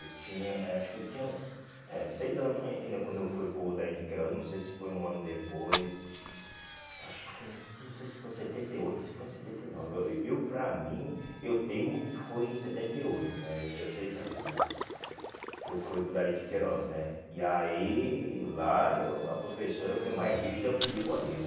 Eu tinha, eh acho que eu tinha é seis anos ainda quando eu fui para o Dari de Queiroz, não sei se foi um ano depois, acho que foi, não sei se foi em setenta e oito, se foi em setenta e nove, eu para mim, eu teimo que foi em setenta e oito, né, eu tinha seis anos, né, que eu fui para o Dari de Queiroz, né, e aí lá eu a professora foi mais rígida comigo ali, né.